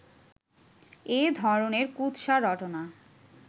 এ ধরনের কুৎসা রটনা